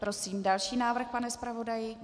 Prosím další návrh, pane zpravodaji.